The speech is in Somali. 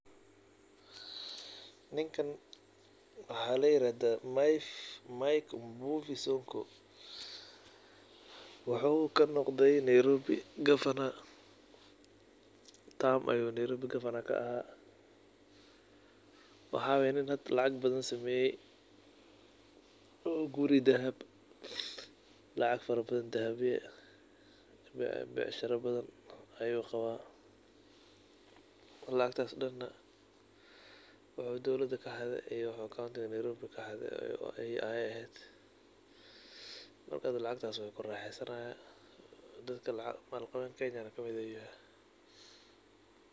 Ninka waxa layirahda mike sonko, wuxu kanoqde nairobi gavana tarm ayu nairobi gavana kaaha waxa macqul ah hada inu lacag badan sameye oo guri dahab, lacag fara badan oo dahab ah iyo becsharo ayu qawa. Lacagtas daan wuxu dowlada kaxade iyo wuxu nairobi conti kaxade ayey eheed marka lacagtas wu kuraxeysanaya malqawenta kenyana wukujira.